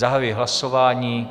Zahajuji hlasování.